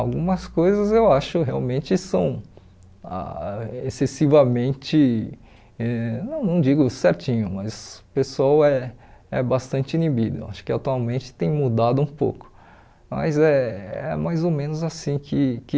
Algumas coisas eu acho realmente são ah excessivamente, eh não não digo certinho, mas o pessoal é é bastante inibido, acho que atualmente tem mudado um pouco, mas é é mais ou menos assim que que